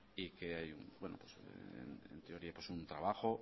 y que hay en teoría un trabajo